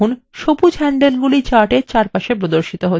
দেখুন সবুজ হ্যান্ডলগুলি chartএর চারপাশে প্রদর্শিত হচ্ছে